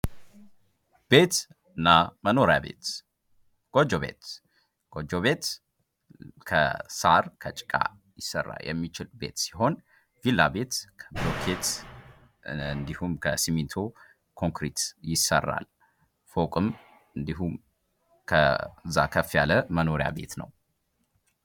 ቤት እና መኖሪያ ቤት ጎጆ ቤት ጎጆ ቤት ከሳር ከጭቃ ሊሰራ የሚችል ቤት ሲሆን ቪላ ቤት ከብሎኬት እንዲሁም ከሲሚንቶ ኮንክሪት ይሰራል:: ፎቅም እንዲህ ከዛ ከፍ ያለ መኖሪያ ቤት ነው::